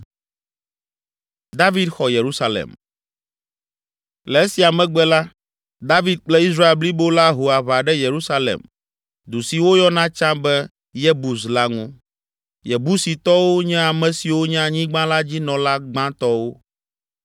Le esia megbe la, David kple Israel blibo la ho aʋa ɖe Yerusalem, du si woyɔna tsã be Yebus la ŋu. Yebusitɔwo nye ame siwo nye anyigba la dzi nɔla gbãtɔwo.